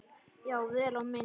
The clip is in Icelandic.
Já, vel á minnst.